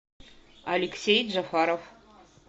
алексей джафаров